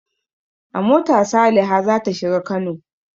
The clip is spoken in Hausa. A mota Saliha za ta shiga Kano.